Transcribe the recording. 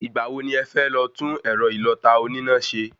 Ìgbà wo ni ẹfẹ́ lọ tún ẹ̀rọ ìlọ̀ta oníná ṣe?